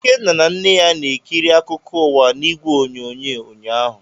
Ikenna na nne ya na-ekiri akụkọ ụwa n'igwe onyonyo ụnyaahụ.